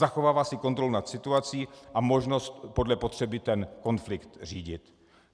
Zachovává si kontrolu nad situací a možnost podle potřeby ten konflikt řídit.